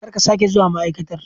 Kar ka sake zuwa ma'aikatar!